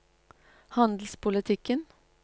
handelspolitikken